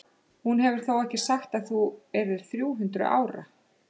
Hún hefur þó ekki sagt að þú yrðir þrjú hundruð ára?